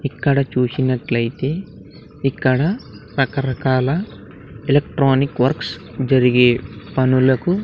ఇక్కడ చూసినట్లయితే ఇక్కడ రకరకాల ఎలక్ట్రానిక్ వర్క్స్ జరిగే పనులకు--